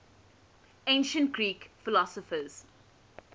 ancient greek philosophers